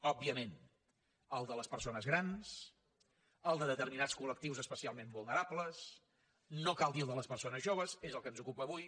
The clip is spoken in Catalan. òbviament el de les persones grans el de determinats col·lectius especialment vulnerables no cal dir el de les persones joves és el que ens ocupa avui